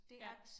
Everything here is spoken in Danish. Ja